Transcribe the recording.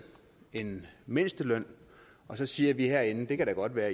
en mindsteløn og så siger vi herinde det kan da godt være